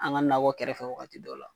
An ga nakɔ kɛrɛfɛ wagati dɔw la